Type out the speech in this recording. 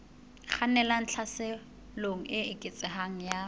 kgannelang tlhaselong e eketsehang ya